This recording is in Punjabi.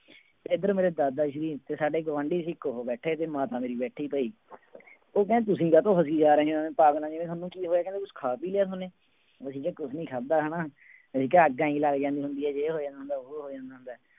ਤੇ ਇੱਧਰ ਮੇਰੇ ਦਾਦਾ ਸੀ ਤੇ ਸਾਡੇ ਗੁਆਂਢੀ ਸੀ ਇੱਕ ਉਹ ਬੈਠੇ ਤੇ ਮਾਤਾ ਮੇਰੀ ਬੈਠੀ ਬਈ ਉਹ ਕਹਿੰਦੇ ਤੁਸੀਂ ਕਾਹਤੋਂ ਹਸੀ ਜਾ ਰਹੇ ਹੋ ਪਾਗਲਾ ਜਿਹਾ ਤੁਹਾਨੂੰ ਕੀ ਹੋਇਆ ਕਹਿੰਦੇ ਕੁਛ ਖਾ ਪੀ ਲਿਆ ਤੁਹਾਨੇ, ਅਸੀਂ ਕਿਹਾ ਕੁਛ ਨੀ ਖਾਧਾ ਹਨਾ ਅਸੀਂ ਕਿਹਾ ਅੱਗ ਇਉਂ ਹੀ ਲੱਗ ਜਾਂਦੀ ਹੁੰਦੀ ਹੈ ਜੇ ਹੋ ਜਾਂਦਾ ਹੁੰਦਾ, ਵੋਹ ਹੋ ਜਾਂਦਾ ਹੁੰਦਾ ਹੈ।